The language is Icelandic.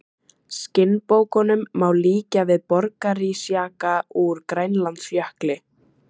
Skinnbókunum má líkja við borgarísjaka úr Grænlandsjökli.